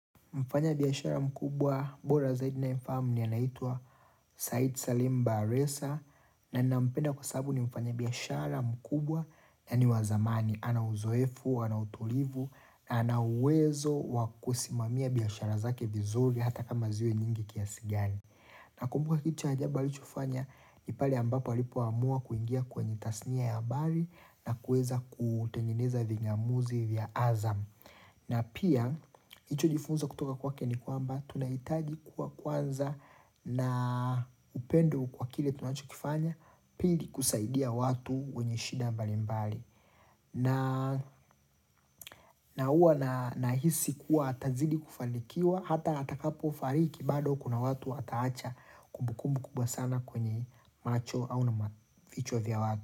Mfanyabiashara mkubwa bora zaidi naye mfahamu ni anaitwa Said Salim Baresa na nampenda kwa sababu ni mfanya biashara mkubwa na ni wazamani. Ana uzoefu, anautulivu na anauwezo wakusimamia biashara zake vizuri hata kama ziwe nyingi kiasigani. Na kumbuka kitu cha ajabu alichofanya ni pale ambapo alipo amua kuingia kwenye tasnia ya mbali na kuweza kutengeneza vingamuzi vya azamu. Na pia, hicho jifunza kutoka kwa kwake nikwamba, tunahitaji kuwa kwanza na upendo kwa kile tunacho kifanya pili kusaidia watu wenye shida mbali mbali. Na huwa na hisi kuwa atazidi kufanikiwa, ata atakapo fariki bado kuna watu ata acha kumbukumbu kubwa sana kwenye macho au na macho vya watu.